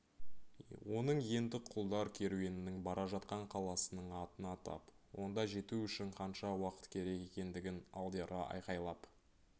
оның енді құлдар керуенінің бара жатқан қаласының атын атап онда жету үшін қанша уақыт керек екендігін алдиярға айқайлап